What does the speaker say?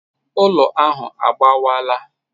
Ụlọ ahụ agbawaala.